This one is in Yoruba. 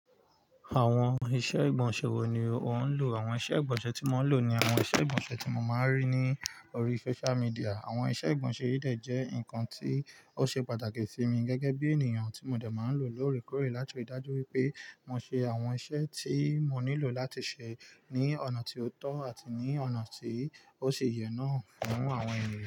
Àwọn iṣẹ́ ìgbọ̀nsẹ̀ wo ni ò ń lò? Àwọn iṣẹ́ ìgbọ̀nsẹ̀ tí mo ń lò ni àwọn iṣẹ́ ìgbọ̀nsẹ̀ tí mo máa ń rí ní orí social media. Àwọn iṣẹ́ ìgbọ̀nsẹ̀ yìí dẹ̀ jẹ́ nǹkan tí ó ṣe pàtàkì sí mi gẹ́gẹ́ bí ènìyàn tí mo dẹ̀ máa ń lò lóòrèkóòrè láti rí dájú wípé mo ṣe àwọn iṣẹ́ tí mo nílò láti ṣe ní ọ̀nà tí ó tọ́ àti ní ọ̀nà tí ó ṣì yè náà fún àwọn ènìyàn.